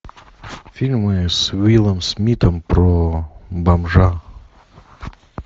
фильмы с уиллом смитом про бомжа